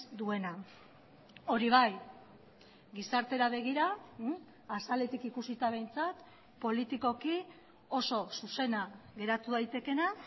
duena hori bai gizartera begira azaletik ikusita behintzat politikoki oso zuzena geratu daitekeena